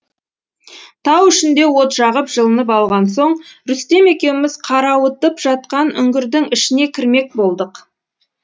тау ішінде от жағып жылынып алған соң рүстем екеуміз қарауытып жатқан үңгірдің ішіне кірмек болдық